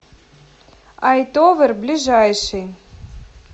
айтовер ближайший